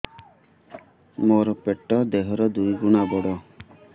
ମୋର ପେଟ ଦେହ ର ଦୁଇ ଗୁଣ ବଡ